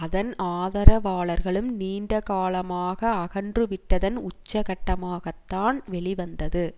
அதன் ஆதரவாளர்களும் நீண்ட காலமாக அகன்றுவிட்டதன் உச்சக்கட்டமாகத்தான் வெளிவந்தது